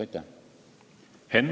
Aitäh!